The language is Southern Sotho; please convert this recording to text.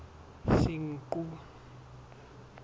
senqu